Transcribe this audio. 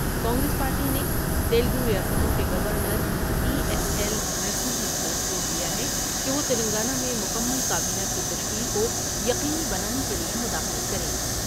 Congress party نے تیلگور یاستوں کے گونرای ایس ایل نرسمہن پر زور دیا ہے کہ وہ تلنگانہ میں مکمل کا بینہ کی تشکیل کویقینی بنانے کے لیے مداخلت کر یں ۔